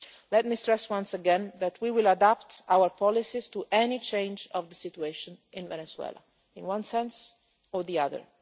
Let me stress once again that we will adapt our policies to any change in the situation in Venezuela, in one sense or the other.